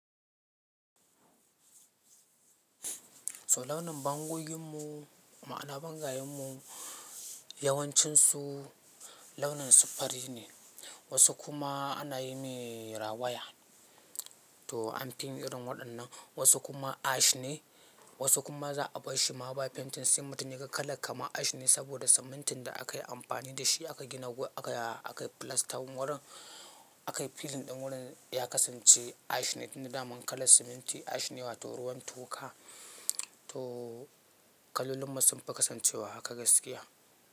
So launin bango gin mu, ma'ana bangayen mu yawancin su launin siffari ne. Wasu kuma ana yi mai rawaya. To amfin irin waɗannan wasu kuma ash ne. Wasu kuma za'a bashi ma bayi painting semutum ne, yaga kala kaman ash ne saboda simintin da akayi amfani da shi akayi gina, akayi filastan wurin, akayi filling ɗin wurin ya kasance ash ne. Inda daman kalan siminti ash ne wato ruwan toka. To kalolinmu sunfi kasancewa haka gaskiya.